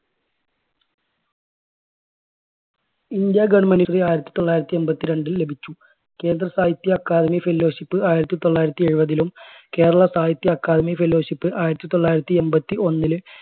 India government ന്റെ ആയിരത്തി തൊള്ളായിരത്തി എൺപത്തി രണ്ടിൽ ലഭിച്ചു. കേന്ദ്ര സാഹിത്യ അക്കാദമി fellowship ആയിരത്തി തൊള്ളായിരത്തി എഴുപതിലും, കേരള സാഹിത്യ അക്കാദമി fellowship ആയിരത്തി തൊള്ളായിരത്തി എൺപത്തി ഒന്നില്